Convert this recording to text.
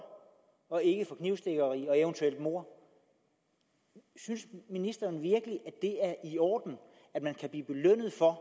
og ikke for knivstikkeri og eventuelt mord synes ministeren virkelig at det er i orden at man kan blive belønnet for at